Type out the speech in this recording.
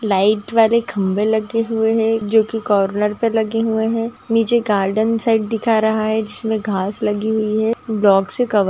light वाले खंबे लगे हुए है जो की कोर्नर पर लगे हुए है नीचे गार्डेन साइड दिखा रहा है जिसमे घास लगी हुई है ब्लॉक से कवर --